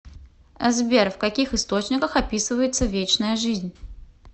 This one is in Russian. сбер в каких источниках описывается вечная жизнь